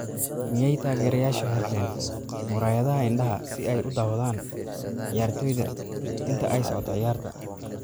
Miyay taageerayaashu xirteen muraayadaha indhaha si ay u daawadaan ciyaartoyda inta ay socoto ciyaarta!